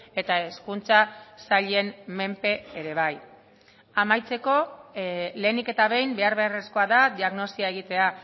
eta hezkuntza sailen menpe ere bai amaitzeko lehenik eta behin behar beharrezkoa da diagnosia egitea